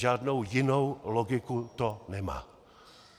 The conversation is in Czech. Žádnou jinou logiku to nemá.